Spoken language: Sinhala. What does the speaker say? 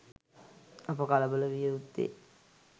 අප කලබල විය යුත්තේ